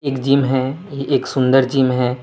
एक जिम है एक सुंदर जीम है।